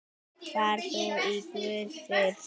Far þú í Guðs friði.